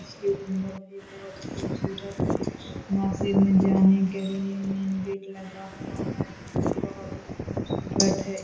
इसके गुम्बद भी बहुत खुबसूरत हैं । मस्जिद में जाने के लिए मेन गेट लगा हुआ है । ये भी बहुत ही खुबसूरत है ।